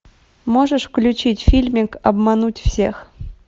можешь включить фильмик обмануть всех